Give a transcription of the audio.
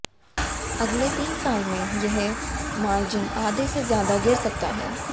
अगले तीन साल में यह मार्जिन आधे से ज्यादा गिर सकता है